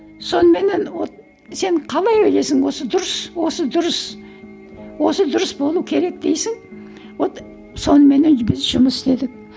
соныменен вот сен қалай ойлайсың осы дұрыс осы дұрыс осы дұрыс болу керек дейсің вот соныменен біз жұмыс істедік